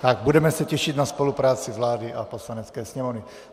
A budeme se těšit na spolupráci vlády a Poslanecké sněmovny.